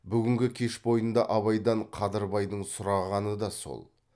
бүгінгі кеш бойында абайдан қадырбайдың сұрағаны да сол